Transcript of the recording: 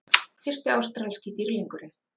Fyrsti ástralski dýrlingurinn